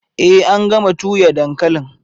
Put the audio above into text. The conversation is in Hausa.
Ee an gama tuyia dankalin